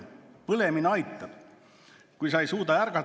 Põlemine aitab, kui sa ei suuda [...